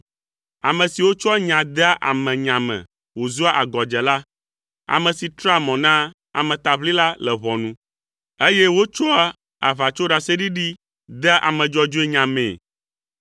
ame siwo tsɔa nya dea ame nya me wòzua agɔdzela, ame si trea mɔ na ametaʋlila le ʋɔnu, eye wòtsɔa aʋatsoɖaseɖiɖi dea ame dzɔdzɔe nya mee.